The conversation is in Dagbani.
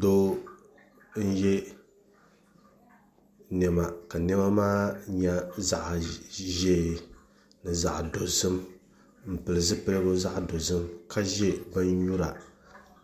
Doo n yɛ niɛma ka niɛma maa nyɛ zaɣ ƶiɛ ni zaɣ dozim n pili zipiligu zaɣ dozim ka ʒi bin nyura